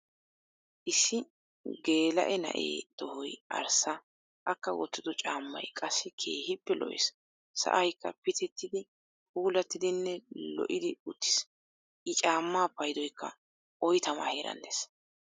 Issi gelaa'e na'ee toohoy arssa. akka woottido caammay qassi keehippe lo"ees. sa'aykka pitettidi puulattidinne lo"idi uttiis. i cammaa paydoykka oyttamaa heeran de'ees.